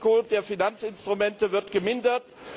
Das Risiko der Finanzinstrumente wird gemindert.